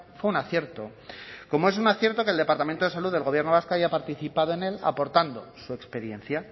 fue un acierto como es un acierto que el departamento de salud del gobierno vasco haya participado en el aportando su experiencia